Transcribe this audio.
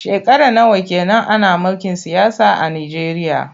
Shekara nawa ke nan ana mulkin siyasa a Nijeriya?